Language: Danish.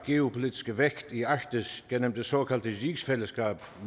geopolitiske vægt i arktis gennem det såkaldte rigsfællesskab